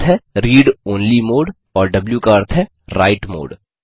र का अर्थ है रीड ओनली मोड और द्व का अर्थ है राइट मोड